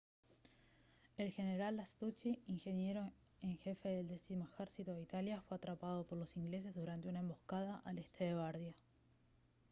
el general lastucci ingeniero en jefe del décimo ejército de italia fue atrapado por los ingleses durante una emboscada al este de bardia